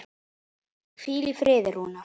Hvíl í friði Rúnar.